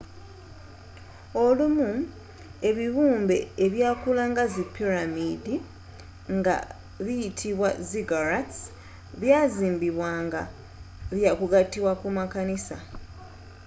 olumu ebibumbe ebyakula nga zi piramiddi nga biyitibwa ziggurats byazimbibwa nga byakugatibwa ku makanisa